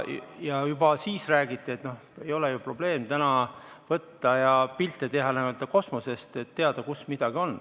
Ja juba siis räägiti, et tänapäeval ei ole ju probleem teha pilte kas või kosmosest, et teada saada, kus midagi on.